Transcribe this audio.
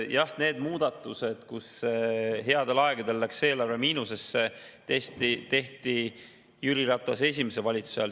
Jah, need muudatused, mille tõttu headel aegadel läks eelarve miinusesse, tehti Jüri Ratase esimese valitsuse ajal.